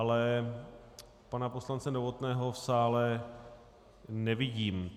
Ale pana poslance Novotného v sále nevidím.